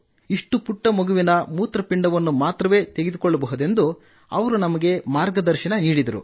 ಇಷ್ಟು ಪುಟ್ಟ ಮಗುವಿನ ಮೂತ್ರಪಿಂಡವನ್ನು ಮಾತ್ರವೇ ತೆಗೆದುಕೊಳ್ಳಬಹುದು ಎಂದು ಅವರು ನಮಗೆ ಮಾರ್ಗದರ್ಶನ ನೀಡಿದರು